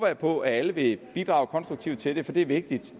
jeg på at alle vil bidrage konstruktivt til det for det er vigtigt